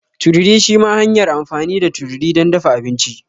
Tururi shima hanyar amfani da tururi don dafa abinci.